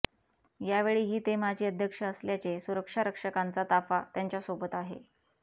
यावेळीही ते माजी अध्यक्ष असल्याचे सुरक्षा रक्षकांचा ताफा त्यांच्यासोबत आहे